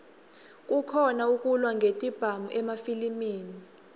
kukhona ekulwa ngetibhamu emafilimi